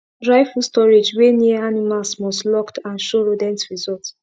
dry food storage wey near animals must locked and show rodent result